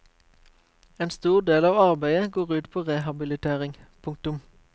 En stor del av arbeidet går ut på rehabilitering. punktum